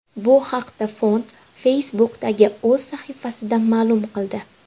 Bu haqda fond Facebook’dagi o‘z sahifasida ma’lum qildi .